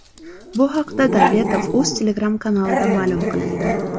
Bu haqda Davletovuz Telegram-kanalida ma’lum qilindi .